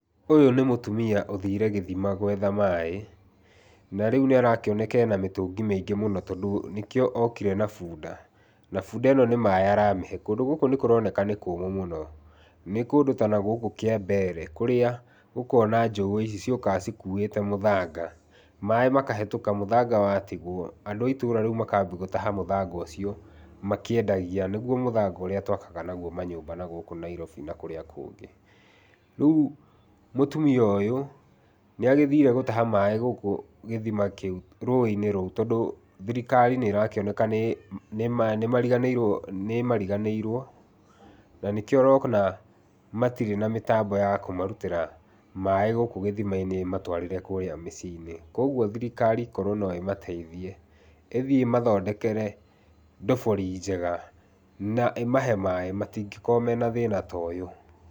Ũyũ nĩ mũtumia ũthire gĩthima gwetha maĩ, na rĩu nĩarakĩoneka ena mĩtũngi mĩingĩ mũno, tondũ nĩkĩo okire na bunda. Na bunda ĩno nĩ maĩ aramĩhe, kũndũ gũkũ nĩkũroneka nĩ kũmũ mũno. Nĩ kũndũ ta nagũkũ Kĩambere kũrĩa ũkona njogu ici ciũkaga cikuĩte mũthanga, maĩ makahĩtũka mũthanga watigwo, andũ a itũra rĩu makambi gũtaha mũthanga ũcio makĩendagia, nĩguo mũthanga ũrĩa twakaga naguo manyũmba nagũkũ Nairobi na kũrĩa kũngĩ. Rĩu mũtumia ũyũ nĩagĩthire gũtaha maĩ gũkũ gĩthima kĩu, rũĩ-inĩ rũu, tondũ thirikari nĩrakĩoneka nĩ nĩmariganĩirwo, na nĩkĩo ũrona matirĩ na mĩtambo ya kũmarutĩra maĩ gũkũ githima-inĩ ĩmatwarĩre kũrĩa mĩciĩ-inĩ. Kogwo thirikari korwo no ĩmateithie ĩthiĩ ĩmathondekere ndobori njega na ĩmahe maĩ matingĩkorwo mena thĩna ta ũyũ.